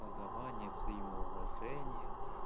образование взаимоуважение